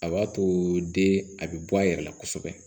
A b'a to den a bɛ bɔ a yɛrɛ la kosɛbɛ